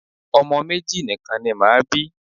Ọmọ méjì nìkan ni màá bí.